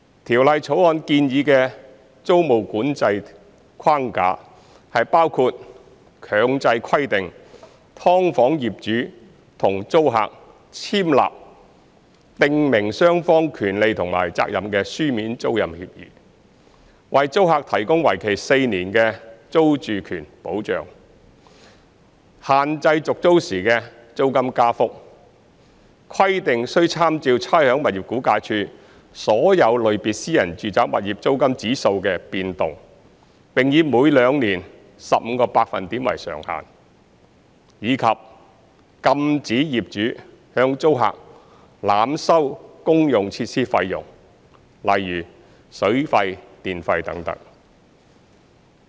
《條例草案》建議的租務管制框架，包括強制規定"劏房"業主與租客簽立訂明雙方權利和責任的書面租賃協議；為租客提供為期4年的租住權保障；限制續租時的租金加幅，規定須參照差餉物業估價署所有類別私人住宅物業租金指數的變動，並以每兩年 15% 為上限；以及禁止業主向租客濫收公用設施費用等。